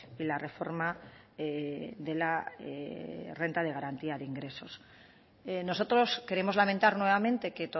y la reforma de la renta de garantía de ingresos nosotros queremos lamentar nuevamente que